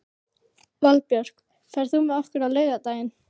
Valbjörk, ferð þú með okkur á laugardaginn?